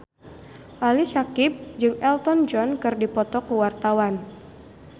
Ali Syakieb jeung Elton John keur dipoto ku wartawan